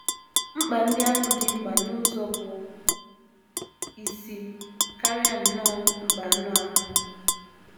Mkpa ndị ahụ dị mkpa n’ụzọ bụ́ isi, karịa nnọọ mkpa anụ ahụ.